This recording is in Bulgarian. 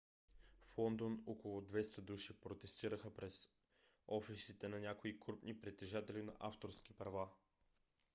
в лондон около 200 души протестираха пред офисите на някои крупни притежатели на авторски права